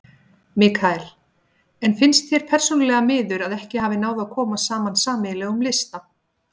Mikael: En finnst þér persónulega miður að ekki hafi náð að koma saman sameiginlegum lista?